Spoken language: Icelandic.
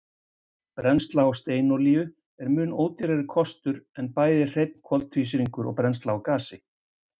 Brennsla á steinolíu er mun ódýrari kostur en bæði hreinn koltvísýringur og brennsla á gasi.